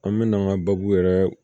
An mɛna an ka baabu yɛrɛ